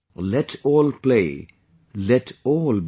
Let all play let all bloom